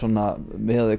miðað við